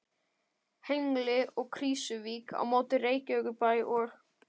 Hengli og Krýsuvík á móti Reykjavíkurbæ og